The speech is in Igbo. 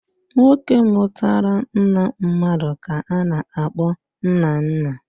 Nwoke mụtara nna mmadụ ka a na-akpọ nnanna